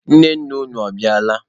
Nne nna unu, ọ bịala?